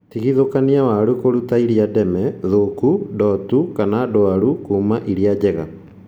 Tigithũkania waru kũruta iria ndeme, thũku, ndotu kana ndwaru kuma iria njega